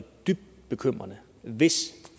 dybt bekymrende hvis